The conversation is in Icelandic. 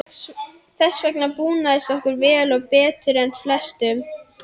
Þess vegna búnaðist okkur vel og betur en flestum.